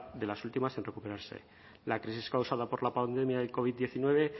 de las últimas en recuperarse la crisis causada por la pandemia del covid diecinueve